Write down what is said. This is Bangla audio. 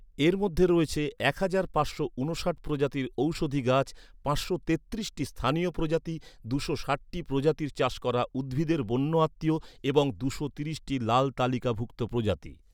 এর মধ্যে রয়েছে এক হাজার পাঁচশো ঊনষাট প্রজাতির ঔষধি গাছ, পাঁচশো তেত্রিশটি স্থানীয় প্রজাতি, দুশো ষাটটি প্রজাতির চাষ করা উদ্ভিদের বন্য আত্মীয় এবং দুশো ত্রিশটি লাল তালিকাভুক্ত প্রজাতি।